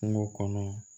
Kungo kɔnɔ